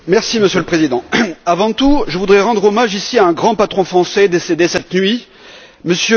Monsieur le Président, avant tout je voudrais rendre hommage à un grand patron français décédé cette nuit, M.